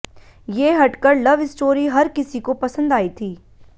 ये हटकर love story हर किसी को पसंद आई थी